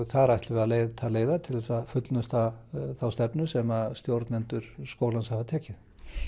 þar ætlum við að leita leiða til að fullnusta þá stefnu sem stjórnendur skólans hafa tekið